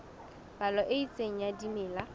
palo e itseng ya dimela